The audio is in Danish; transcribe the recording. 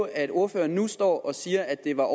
at ordføreren nu står og siger at det var